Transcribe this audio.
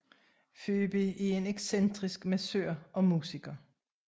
Phoebe er en excentrisk massør og musiker